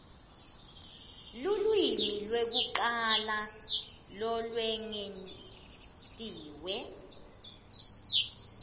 lulwimi lwekucala lolwengetiwe